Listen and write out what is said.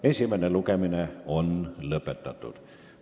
Esimene lugemine on lõppenud.